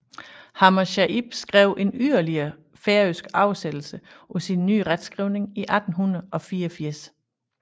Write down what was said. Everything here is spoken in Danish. Hammershaimb skrev en yderligere færøsk oversættelse på sin ny retskrivning i 1884